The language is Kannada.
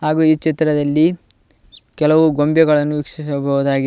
ಹಾಗು ಈ ಚಿತ್ರದಲ್ಲಿ ಕೆಲವು ಗೊಂಬೆಗಳನ್ನು ವಿಕ್ಶಿಸಬಹುದಾಗಿದೆ.